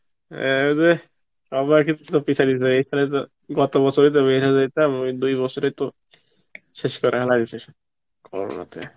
অ্যাঁ রে সবাই কে তো পিছলে তো গত বছর তো যদি বিয়া টা করে নিতাম ওই দুই বছর এ তো শেষ করা ফলিছে Corona তে